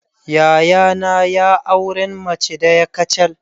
Yayana ya auren mace daya kacal.